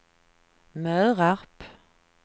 Mörarp